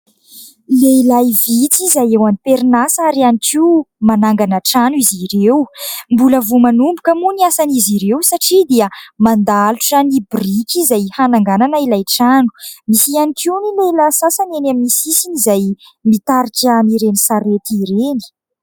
Lehilahy vitsy izay eo am-perinasa ary ihany koa manangana trano izy ireo mbola vao manomboka moa ny asan'izy ireo satria dia mandalotra ny biriky izay hananganana ilay trano. Misy ihany koa ny lehilahy sasany eny amin'ny sisiny izay mitarika an'ireny sarety ireny.